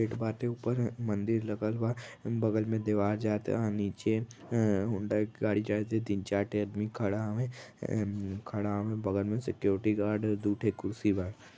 At बाटे उपर एं म्मं दिर लगल बा। बगल में देवार जाता नीचे हम्म हुंडा के गाड़ी जैत । तीन चार ठे अदमी खड़ा हवे एं-म्-खड़ा हवे। बगल में सिक्युरिटी गार्ड ह दु ठे कुर्सी बा --